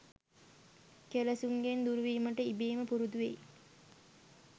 කෙලෙසුන්ගෙන් දුරුවීමට ඉබේම පුරුදු වෙයි.